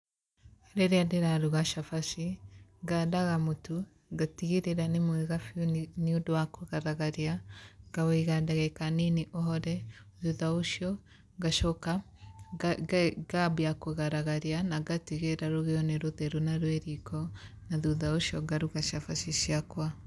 Rĩrĩa ndĩraruga cabaci ngadaga mũtu ngatigĩrĩra ni mwega biũ niũndũ wa kũgaragaria ngaũiga ndagĩka nini ũhore thutha ũcio ngacoka ngambia kũgaragaria na ngatigĩrĩra rũgio nĩ rũtheru na rwĩ riiko na thutha ũcio ngaruga cabaci ciakwa